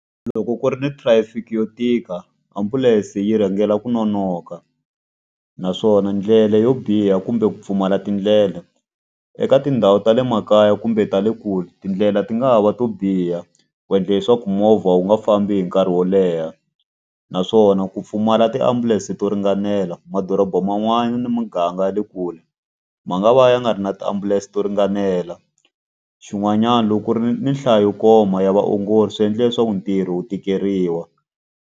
Loko ku ri na traffic yo tika, ambulense yi rhangela ku nonoka. Naswona ndlela yo biha kumbe ku pfumala tindlela, eka tindhawu ta le makaya kumbe ta le kule tindlela ti nga ha va to biha ku endla leswaku movha wu nga fambi hi nkarhi wo leha. Naswona ku pfumala tiambulense to ringanela, madorobha man'wani ni muganga ya le kule, ma nga va ya nga ri na tiambulense to ringanela. Xin'wanyana loko ku ri ni ni nhlayo yo koma ya vaongori swi endle leswaku ntirho wu tikeriwa.